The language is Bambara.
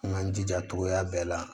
An k'an jija togoya bɛɛ la